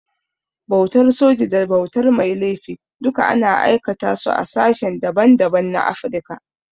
Bautar soji da bautar mai laifi duka ana aikata su a sashen da ban da ban na Afrika.